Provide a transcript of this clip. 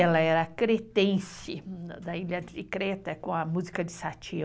Ela era cretense, da ilha de Creta, com a música de Sati.